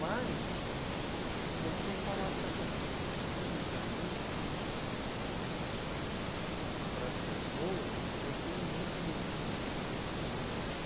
Mas, você falar certas coisas publicamente para as pessoas, ah... eu tenho muito medo de de me machucar.